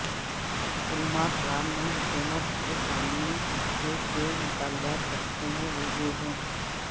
علماء کرام نے حکومت کے سامنے جو چھ مطالبات رکھے ہیں وہ یہ ہیں